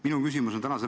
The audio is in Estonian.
Minu küsimus on selline.